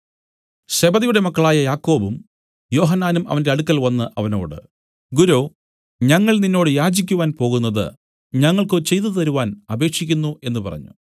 സെബെദിയുടെ മക്കളായ യാക്കോബും യോഹന്നാനും അവന്റെ അടുക്കൽ വന്നു അവനോട് ഗുരോ ഞങ്ങൾ നിന്നോട് യാചിക്കുവാൻ പോകുന്നത് ഞങ്ങൾക്കു ചെയ്തുതരുവാൻ അപേക്ഷിക്കുന്നു എന്നു പറഞ്ഞു